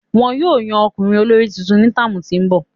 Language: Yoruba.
Wọn yóò yan ọmọkunrin olori tuntun ni táámu ti n bọ.